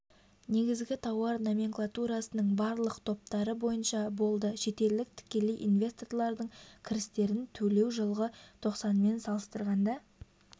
негізгі тауар номенклатурасының барлық топтары бойынша болды шетелдік тікелей инвесторлардың кірістерін төлеу жылғы тоқсанмен салыстырғанда